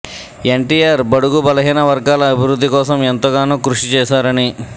ఎన్టిఆర్ బడుగు బలహీన వర్గాల అభివృద్ధి కోసం ఎంతగానో కృషి చేశారని